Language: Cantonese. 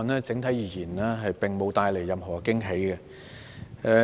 整體而言，這預算案並無帶來任何驚喜。